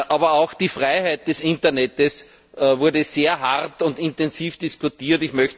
Aber auch über die Freiheit des Internets wurde sehr hart und intensiv diskutiert.